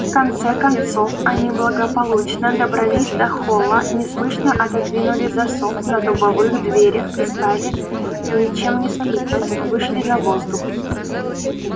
в конце концов они благополучно добрались до холла неслышно отодвинули засов на дубовых дверях и стали ничем не скрипнуть вышли на воздух